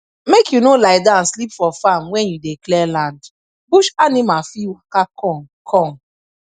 make you no lie down sleep for farm when you dey clear land bush animal fit waka come come